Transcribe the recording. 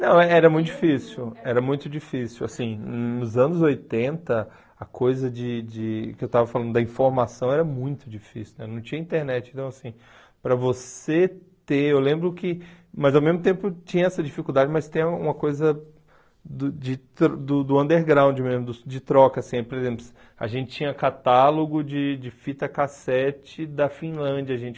Não, era muito difícil, era muito difícil, assim, nos anos oitenta, a coisa de de, que eu estava falando, da informação era muito difícil né, não tinha internet, então assim, para você ter, eu lembro que, mas ao mesmo tempo tinha essa dificuldade, mas tem uma coisa do de do do underground mesmo, de troca, assim, por exemplo, a gente tinha catálogo de de fita cassete da Finlândia, a gente...